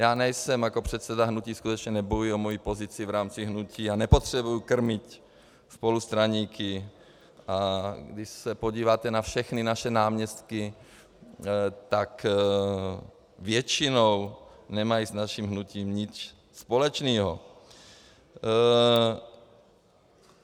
Já nejsem jako předseda hnutí, skutečně nebojuji o svoji pozici v rámci hnutí a nepotřebuji krmit spolustraníky, a když se podíváte na všechny naše náměstky, tak většinou nemají s naším hnutím nic společného.